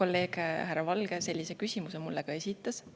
kolleeg härra Valge sellise küsimuse mulle esitas.